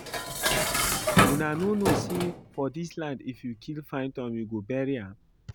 Una no know say for dis land if you kill python you go bury am